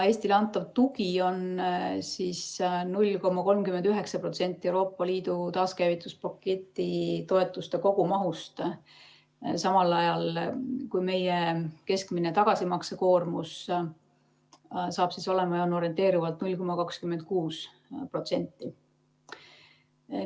Eestile antav tugi on 0,39% Euroopa Liidu taaskäivitamise paketi toetuste kogumahust, samal ajal kui meie keskmine tagasimaksmise koormus saab olema orienteerivalt 0,26%.